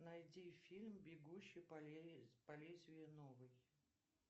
найди фильм бегущий по лезвию новый